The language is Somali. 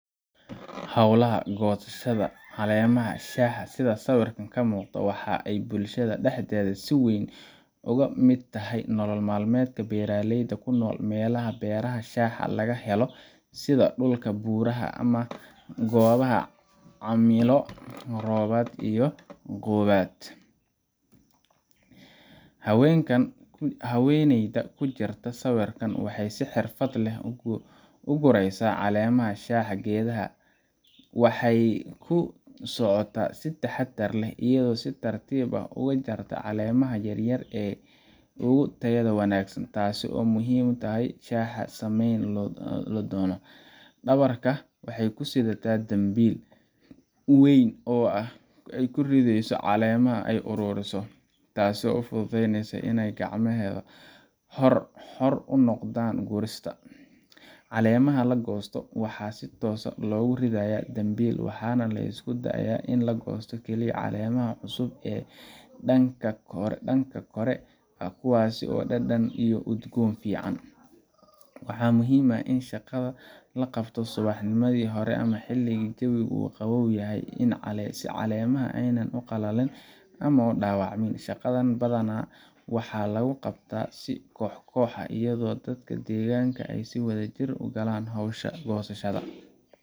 Howlaha goosashada caleemaha shaha sida sawirkan kamuuqdo waxay bulshada dhaxdeeda si weyn oga mid tahay nolol maalmeedka beeraleyda kunol melaha beerha shaha laga helo sida dhuka buuraha, ama goobaha cimilo robaad iyo gu aad, haweeneyda kujirta sawirkan waxay si xirfad leh u gureysa caleemaha shaha geedaha ,waxay kusocota si taxadar leh iyado si tartib ah oga jarta caleemaha yar yar ee ogu tayada wanaagsan taasi oo muhiim utahay shaha lasameeyni doono, dhabarka waxay kusidata dambil weyn oo ay kurideyso caleemaha ay ururiso taasi oo u fududeyneysa inay gacmeheda xor unoqdan gurista, caleemaha lagosto waxa si toos ah logu ridaaya dambil waxana lisku daaya ini lagosto keliya caleemaha cusub ee dhanka kore kuwaasi oo dhadhan iyo udgoon fican, waxa muhiim ah in shaqada laqabto subax nimadi hore ama xiligii jawiga uu qabow yahay si caleemaha aynan u qalalin ama aynan u dhaabacmin, shaqadan badana waxa lugu qabta si koxkox ah iyado dadka deegaanka ay si wada jir kugalaan howsha goosashada